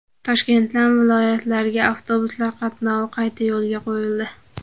Toshkentdan viloyatlarga avtobuslar qatnovi qayta yo‘lga qo‘yildi.